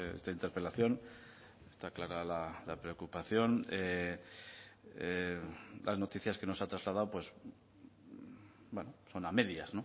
esta interpelación está clara la preocupación las noticias que nos ha trasladado son a medias